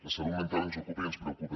la salut mental ens ocupa i ens preocupa